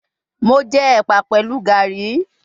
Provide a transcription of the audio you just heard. Mo jẹ ẹpa pẹlu Garri